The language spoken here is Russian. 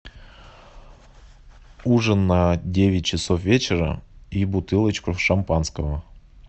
ужин на девять часов вечера и бутылочку шампанского